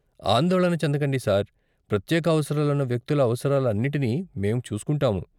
ఆందోళన చెందకండి సార్, ప్రత్యేక అవసరాలున్న వ్యక్తుల అవసరాలన్నిటినీ మేము చూసుకుంటాము.